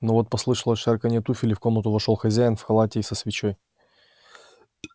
но вот послышалось шарканье туфель и в комнатку вошёл хозяин в халате и со свечой